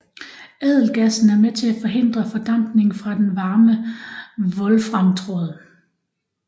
Ædelgassen er med til at forhindre fordampningen fra den varme wolframtråd